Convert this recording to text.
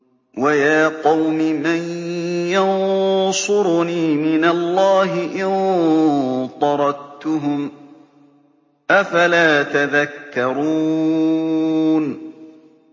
وَيَا قَوْمِ مَن يَنصُرُنِي مِنَ اللَّهِ إِن طَرَدتُّهُمْ ۚ أَفَلَا تَذَكَّرُونَ